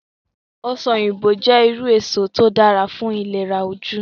Ọsàn òyìnbó jẹ́ irú èso tí ó dára fún ìlera ojú